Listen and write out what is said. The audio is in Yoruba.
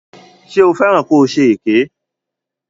Ṣé o fẹ́ràn ko ṣe èké?